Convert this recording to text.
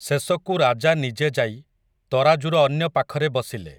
ଶେଷକୁ ରାଜା ନିଜେ ଯାଇ, ତରାଜୁର ଅନ୍ୟ ପାଖରେ ବସିଲେ ।